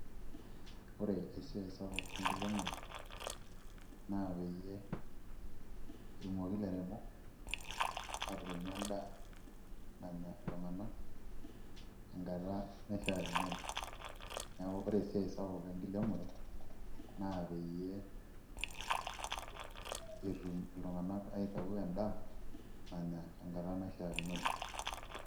Ore esiai enkiremore naa peyie etumoki ilairemok aateremu endaa nanya iltung'anak tenkata naishiakinore neeku ore esiai sapuk enkiremore naa peyie etum iltung'anak aitaau endaa nanya tenkata naishiakinore.